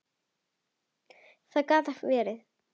Það gat verið.